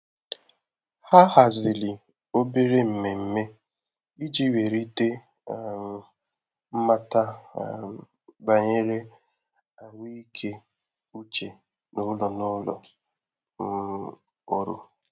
ha haziri obere mmeme iji welite um mmata um banyere ahụike ụche n'ụlọ n'ụlọ um ọrụ